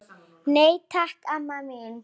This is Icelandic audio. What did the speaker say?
Nei, takk, amma mín.